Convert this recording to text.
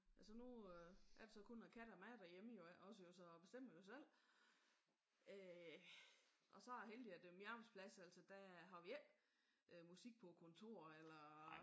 Altså nu er det jo så kun katten og mig derhjemme jo iggås så jeg bestemmer jo selv. Øh og så er jeg heldig at min arbejdsplads altså der har vi ikke musik på kontoret eller